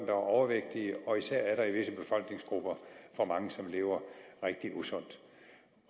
er overvægtige og især i visse befolkningsgrupper for mange der lever rigtig usundt